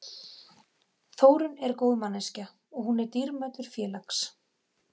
Þórunn er góð manneskja, og hún er dýrmætur félags